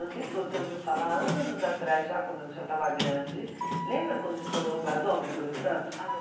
não sei se você ouviu falar anos atrás já quando eu já estava grande, lembra quando estourou o gasômetro em Santos? Ah